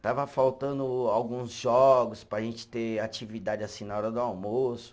Estava faltando o alguns jogos para a gente ter atividade assim na hora do almoço.